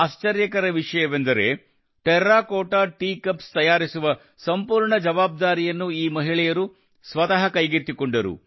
ಆಶ್ಚರ್ಯಕರ ವಿಷಯವೆಂದರೆ terracotta tea cups ತಯಾರಿಸುವ ಸಂಪೂರ್ಣ ಜವಾಬ್ದಾರಿಯನ್ನು ಈ ಮಹಿಳೆಯರು ಸ್ವತಃ ಕೈಗೆತ್ತಿಕೊಂಡರು